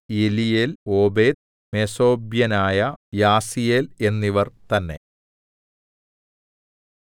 എലീയേൽ Obed മെസോബ്യനായ Jasiel എന്നിവർ തന്നേ